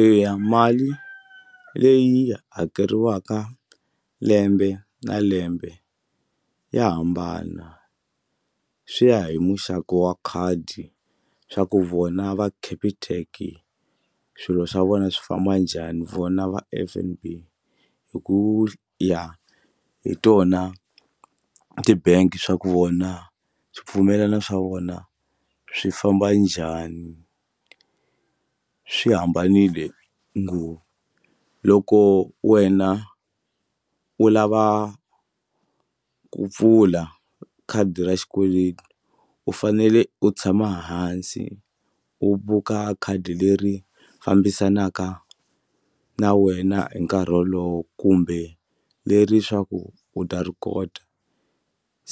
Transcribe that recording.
Eya mali leyi hakeriwaka lembe na lembe ya hambana swi ya hi muxaka wa khadi swa ku vona va Capitec swilo swa vona swi famba njhani vona va F_N_B hi ku ya hi tona ti-bank swa ku vona swipfumelana swa vona swi famba njhani swi hambanile ngo loko wena u lava ku pfula khadi ra xikweleti u fanele u tshama hansi u buka khadi leri fambisanaka na wena hi nkarhi wolowo kumbe leri swa ku u ta ri kota